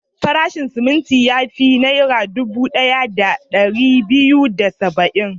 Farashin siminti ya fi Naira dubu ɗaya da ɗari biyu da saba'in.